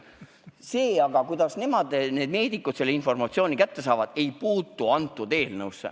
See aga, kuidas meedikud selle informatsiooni kätte saavad, ei puutu kõnealusesse eelnõusse.